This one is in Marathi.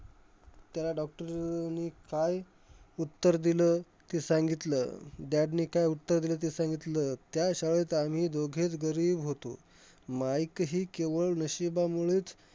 त्याला doctor ने काय उत्तर दिलं, ते सांगितलं. dad ने काय उत्तर दिलंं, ते सांगितलं. त्या शाळेत आम्ही दोघेचं गरीब होतो. माईकही केवळ नशिबामुळेचं,